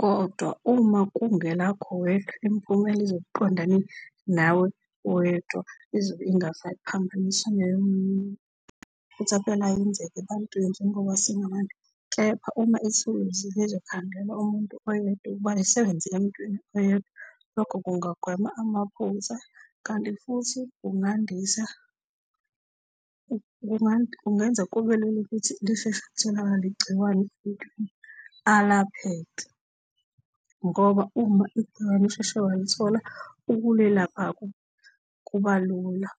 Kodwa uma kungelakho wedwa imiphumela izobe iqondane nawe wedwa, izobe ingasaphambaniswa neyomunye umuntu. Amaphutha phela ayenzeka ebantwini njengoba singabantu. Kepha uma ithuluzi lizokhandelwa umuntu oyedwa ukuba lisebenze emuntwini oyedwa, lokho kungagwema amaphutha kanti futhi kungandisa, kungenza kube lula ukuthi lisheshe litholakale igciwane emuntwini, alapheke ngoba uma igciwane usheshe walithola ukulelapha kuba lula.